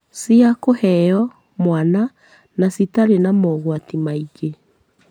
cia kũheo mwana na citarĩ na mogwati maingĩ.